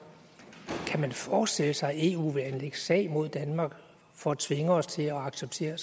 kan man forestille sig at eu vil anlægge sag mod danmark for at tvinge os til at acceptere